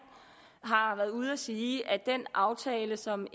har været ude at sige at den aftale som